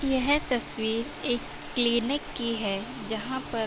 यह तस्वीर एक क्लिनिक की है जहाँ पर --